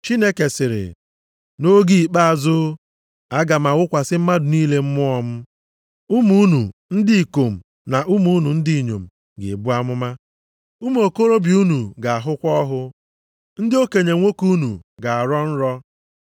“ ‘Chineke sịrị, nʼoge ikpeazụ, aga m awụkwasị mmadụ niile Mmụọ m. Ụmụ unu ndị ikom na ụmụ unu ndị inyom ga-ebu amụma, ụmụ okorobịa unu ga-ahụkwa ọhụ, ndị okenye nwoke unu ga-arọ nrọ.